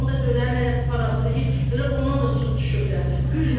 Onu da dönərin hərəsi parasını yeyib, elə ondan da su düşüblər.